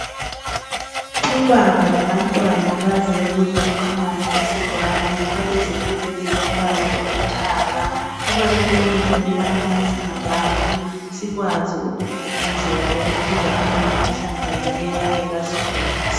Ubaba labantwana baze ukuzokukha amanzi esibhoraneni balezigumbu ezilombala olithanga kubalulekile ukubana nxa singabantu sikwazi ukugqugquzela ukuphuza amanzi ahlanzekileyo angeke asigulise .